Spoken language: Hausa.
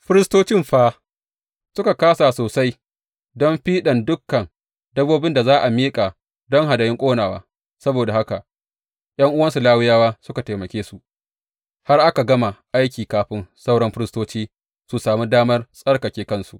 Firistoci fa, suka kāsa sosai don fiɗan dukan dabbobin da za a miƙa don hadayun ƙonawa; saboda haka ’yan’uwansu Lawiyawa suka taimake su har aka gama aiki kafin sauran firistoci su sami damar tsarkake kansu.